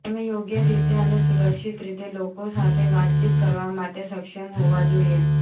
તમે યોગ્ય રીતે અને સુરક્ષિત રીતે લોકો સાથે વાતચીત કરવા માટે સક્ષમ હોવા જોઈએ